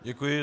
Děkuji.